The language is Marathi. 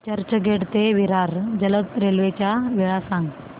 चर्चगेट ते विरार जलद रेल्वे च्या वेळा सांगा